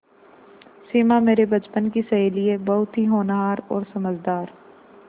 सिमा मेरे बचपन की सहेली है बहुत ही होनहार और समझदार